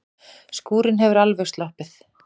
Skúrinn hefur alveg sloppið?